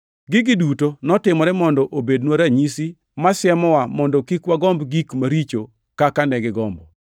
Gigi duto notimore mondo obednwa ranyisi masiemowa mondo kik wagomb gik maricho kaka ne gigombo.